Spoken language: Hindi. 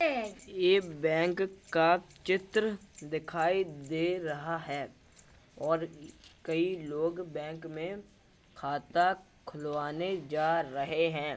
ये बैंक का चित्र दिखाई दे रहा है और कई लोग बैंक में खाता खुलवाने जा रहे हैं।